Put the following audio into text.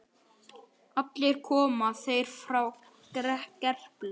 Allir koma þeir frá Gerplu.